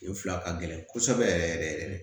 Nin fila ka gɛlɛn kosɛbɛ yɛrɛ yɛrɛ